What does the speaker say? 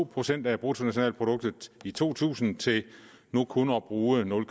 procent af bruttonationalproduktet i to tusind til nu kun at bruge nul